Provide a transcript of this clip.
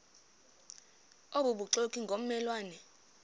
obubuxoki ngomme lwane